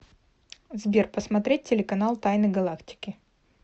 сбер посмотреть телеканал тайны галактики